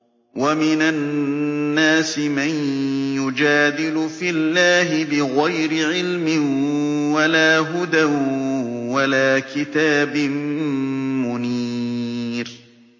وَمِنَ النَّاسِ مَن يُجَادِلُ فِي اللَّهِ بِغَيْرِ عِلْمٍ وَلَا هُدًى وَلَا كِتَابٍ مُّنِيرٍ